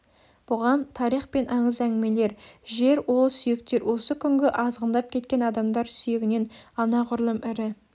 бұған тарих пен аңыз әңгімелер жер ол сүйектер осы күнгі азғындап кеткен адамдар сүйегінен анағұрлым ірі